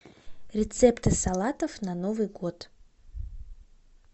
рецепты салатов на новый год